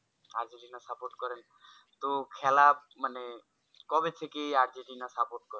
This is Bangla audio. আর্জেন্টিনা support করেন তো খেলা মানে কবে থেকে কবে থেকে আর্জেন্টিনা support করেন?